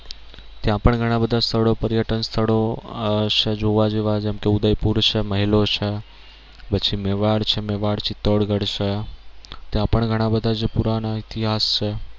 ત્યાં પણ ઘણા બધા સ્થળો પર્યટન સ્થળો આહ છે જોવા જેવા જેમ કે ઉદયપુર છે મહેલો છે પછી મેવાડ છે મેવાડ ચિતોડગઢ છે ત્યાં પણ ઘણા બધા જે પુરાના ઇતિહાસ છે.